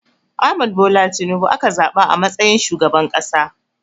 Ahmad Bola Tinubu aka zaɓa a matsayin shugaban ƙasa.